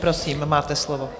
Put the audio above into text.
Prosím, máte slovo.